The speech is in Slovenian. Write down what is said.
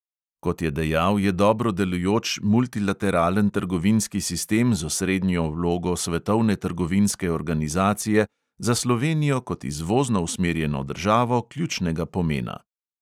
Kot je dejal, je dobro delujoč multilateralen trgovinski sistem z osrednjo vlogo svetovne trgovinske organizacije za slovenijo kot izvozno usmerjeno državo ključnega pomena.